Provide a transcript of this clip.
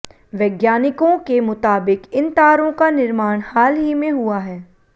वैज्ञानिकों के मुताबिक इन तारों का निर्माण हाल ही में हुआ है